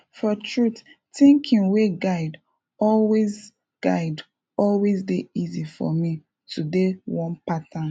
for truth thinking way guide always guide always dey easy for me to dey one pattern